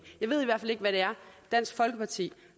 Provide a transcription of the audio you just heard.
hvad det er dansk folkeparti